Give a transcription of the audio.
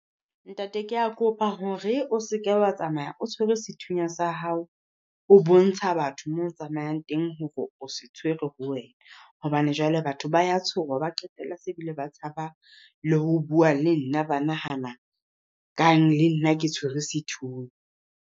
Ntate ke a kopa hore o seke wa tsamaya o tshwere sethunya sa hao, o bontsha batho mo tsamayang teng hore o se tshwere ho wena. Hobane jwale batho ba ya tshowa, ba qetelletse bile ba tshaba le ho bua le nna ba nahana kang le nna ke tshwere sethunya.